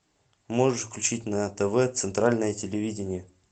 можешь включить на тв центральное телевидение